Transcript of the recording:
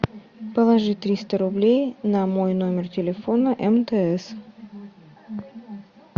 положи триста рублей на мой номер телефона мтс